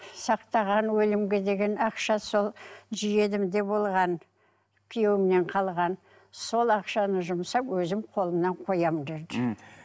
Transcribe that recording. сақтаған өлімге деген ақша сол жиенімде болған күйеуімнен қалған сол ақшаны жұмсап өзім қолымнан қоямын деді мхм